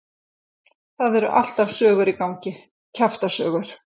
Það eru alltaf sögur í gangi, kjaftasögur.